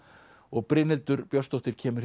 og Brynhildur Björnsdóttir kemur